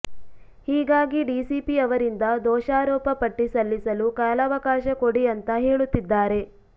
ಹೀಗಾಗಿ ಡಿಸಿಪಿ ಅವರಿಂದ ದೋಷಾರೋಪ ಪಟ್ಟಿ ಸಲ್ಲಿಸಲು ಕಾಲವಕಾಶ ಕೊಡಿ ಅಂತಾ ಹೇಳುತ್ತಿದ್ದಾರೆ